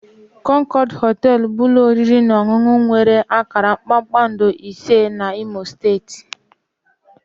Concord họtel bụ ụlọ oriri na ọṅụṅụ nwere akara kpakpando ise na imo steeti